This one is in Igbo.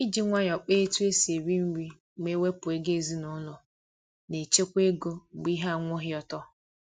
iji nwayọ kpa etu esi eri nri ma iwepu ego ezinaụlọ na echekwa ego mgbe ihe anwụghị ọtọ.